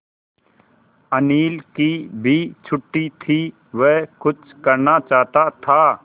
अनिल की भी छुट्टी थी वह कुछ करना चाहता था